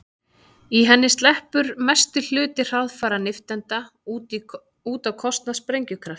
Í henni sleppur mestur hluti hraðfara nifteindanna út á kostnað sprengikraftsins.